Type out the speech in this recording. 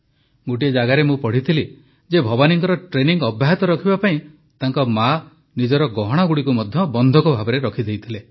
ଗୋଟିଏ ଜାଗାରେ ମୁଁ ପଢ଼ିଥିଲି ଯେ ଭବାନୀଙ୍କ ଟ୍ରେନିଂ ଅବ୍ୟାହତ ରଖିବା ପାଇଁ ତାଙ୍କ ମା ନିଜର ଗହଣାଗୁଡ଼ିକୁ ମଧ୍ୟ ବନ୍ଧକ ଭାବେ ରଖିଦେଇଥିଲେ